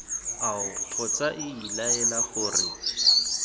ao kgotsa iii laela gore